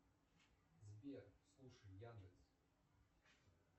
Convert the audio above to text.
сбер слушай яндекс